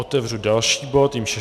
Otevřu další bod, kterým je